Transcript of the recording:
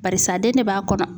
Barisa den de b'a kɔnɔ.